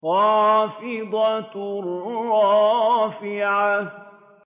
خَافِضَةٌ رَّافِعَةٌ